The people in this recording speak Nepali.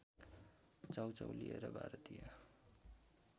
चाउचाउ लिएर भारतीय